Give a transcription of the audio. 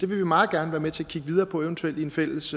vil vi meget gerne være med til at kigge videre på eventuelt i en fælles